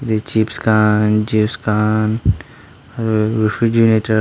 tae chips han juice khan aru refrigerator --